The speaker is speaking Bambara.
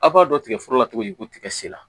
A b'a dɔn tigɛforo la cogo di ko tigɛ sen na